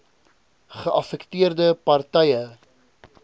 geaffekteerde par tye